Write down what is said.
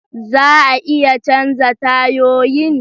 Za a iya canza tayoyin?